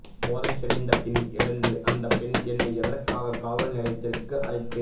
போதை தெளிந்த பின் எழுந்து அந்த பெண் என்னை எதற்காக காவல்நிலையத்திற்கு அழைத்து